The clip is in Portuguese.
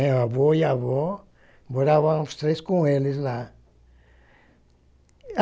O avô e a avó moravam os três com eles lá.